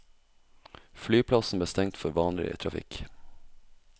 Flyplassen ble stengt for vanlig trafikk.